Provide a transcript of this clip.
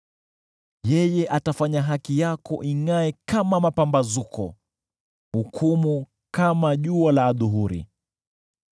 Yeye atafanya haki yako ingʼae kama mapambazuko, na hukumu ya shauri lako kama jua la adhuhuri.